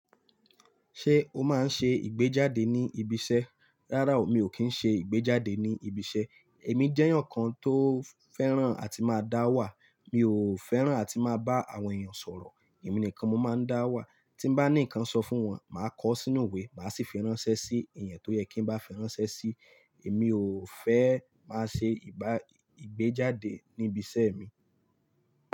Ṣé o máa ń ṣe ìgbéjáde ní ibi iṣẹ́? Rárá o, mi ò kí ń ṣe ìgbéjáde ní ibi iṣẹ́. Èmi jẹ́ èèyàn kan tó fẹ́ràn àti máa dá wà. Mi ò fẹ́ràn àti máa bá àwọn èèyàn sọ̀rọ̀. Ẹ̀mí nìkan mo máa ń dá wà. Tí bá ní nnkan sọ fún wọn, màá kọ sínú ìwé, màá sì fi ránṣẹ́ sí i, èèyàn tó yẹ kí n bá fi ránṣẹ́ sí. Èmi ò fẹ́ máa ṣe ìgbá, ìgbéjáde níbi iṣẹ́ mi.